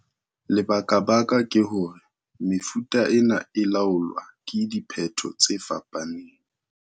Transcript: Lebakabaka ke hore mefuta ena e laolwa ke diphetho tse fapaneng.